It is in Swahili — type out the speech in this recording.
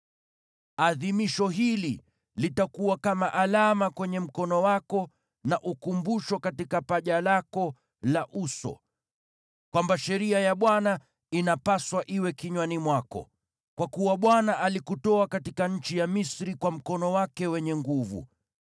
Adhimisho hili, litakuwa kama alama kwenye mkono wako na ukumbusho katika paji lako la uso, kwamba sheria ya Bwana inapaswa iwe kinywani mwako. Kwa kuwa Bwana alikutoa katika nchi ya Misri kwa mkono wake wenye nguvu.